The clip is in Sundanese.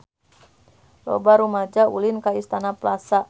Loba rumaja ulin ka Istana Plaza